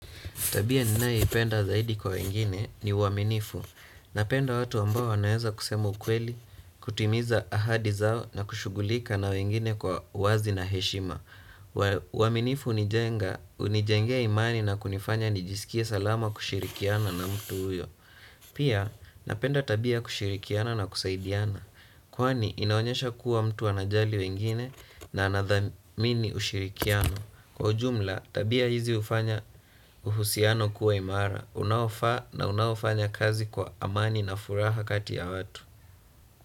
Tabia ninayoipenda zaidi kwa wengine ni uaminifu. Napenda watu ambao wanaeza kusema ukweli, kutimiza ahadi zao na kushughulika na wengine kwa uwazi na heshima. Uaminifu hunijenga hunijengea imani na kunifanya nijisikie salama kushirikiana na mtu huyo. Pia napenda tabia kushirikiana na kusaidiana. Kwani inaonyesha kuwa mtu anajali wengine na anathamini ushirikiano. Kwa ujumla tabia hizi hufanya uhusiano kuwa imara unaofaa na unaofanya kazi kwa amani na furaha kati ya watu.